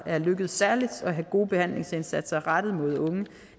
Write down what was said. er lykkedes at have gode behandlingsindsatser rettet mod unge